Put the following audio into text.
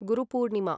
Guru Purnima